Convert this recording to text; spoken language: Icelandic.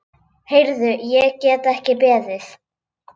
Heyrðu, ég get ekki beðið.